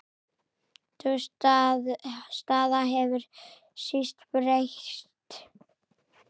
Sú staða hefur síst breyst.